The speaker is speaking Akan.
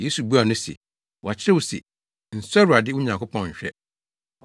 Yesu buaa no se, “Wɔakyerɛw se, ‘Nsɔ Awurade, wo Nyankopɔn nhwɛ.’ ”